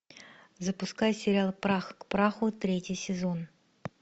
запускай сериал прах к праху третий сезон